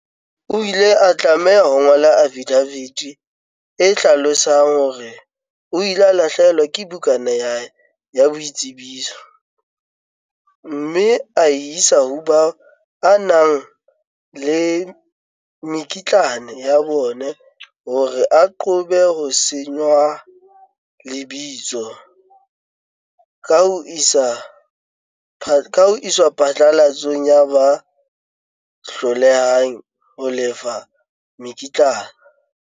O ile a tlameha ho ngola afidafiti e hlalosang hore o ile a lahlehelwa ke bukana ya hae ya boitsebiso, mme a e isa ho bao a nang le mekitlane ya bona hore a qobe ho senngwa lebitso ka ho iswa phatlalatsong ya ba hlolehang ho lefa mekitlane.